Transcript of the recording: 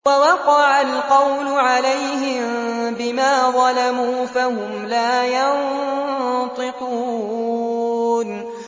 وَوَقَعَ الْقَوْلُ عَلَيْهِم بِمَا ظَلَمُوا فَهُمْ لَا يَنطِقُونَ